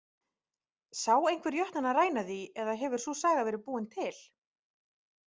Sá einhver jötnana ræna því eða hefur sú saga verið búin til?